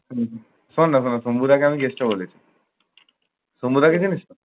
রায়কে আমি guest ও বলেছি। ছন্দা রায়কে চিনিস?